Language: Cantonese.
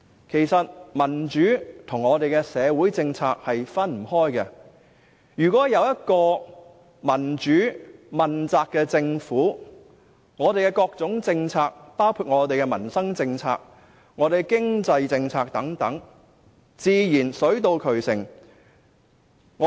其實，民主和社會政策不可分割，如果有一個民主問責的政府，我們的各種政策，包括民生政策和經濟政策等，自然水到渠成。